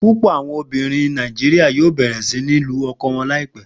Pupọ awọn obinrin Naijiria yoo bẹrẹ si ni lu ọkọ wọn laipẹ.